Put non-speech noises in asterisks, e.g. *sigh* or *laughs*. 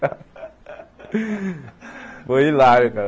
*laughs* Foi hilário, cara.